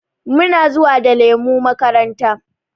Muna zuwa da lemu makaranta.